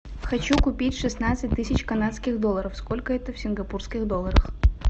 хочу купить шестнадцать тысяч канадских долларов сколько это в сингапурских долларах